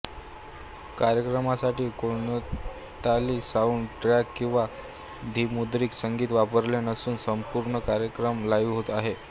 कार्यक्रमासाठी कोणताली sound track किंवा धनिमुद्रित संगीत वापरले नसून संपूण कार्यक्रम लाइव्ह आहे